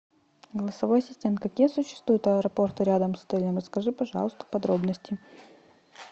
голосовой ассистент какие существуют аэропорты рядом с отелем расскажи пожалуйста подробности